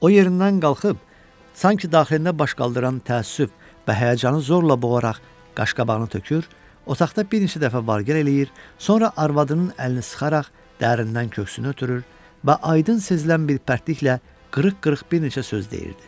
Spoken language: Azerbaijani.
O yerindən qalxıb, sanki daxilində baş qaldıran təəssüf və həyəcanı zorla boğaraq qaşqabağını tökür, otaqda bir neçə dəfə vargel eləyir, sonra arvadının əlini sıxaraq dərinindən köksünü ötürür və aydın sezilən bir pərtliklə qırıq-qırıq bir neçə söz deyirdi.